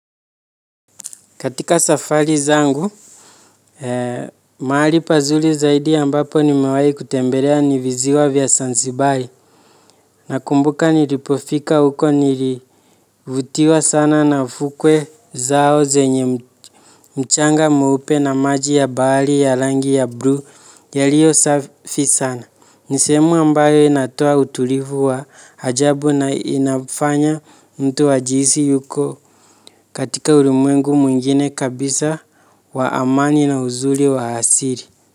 Katika safari zangu, maali pazuli zaidi ambapo nimewai kutembelea ni viziwa vya sansibari. Nakumbuka nilipofika huko nilivutiwa sana na fukwe zao zenye mchanga mwupe na maji ya bahali ya langi ya blu yaliyo safi sana. Ni sehemu ambayo inatoa utulivu wa hajabu na inafanya mtu ajihisi yuko katika urimwengu mwingine kabisa wa amani na huzuli wa asiri.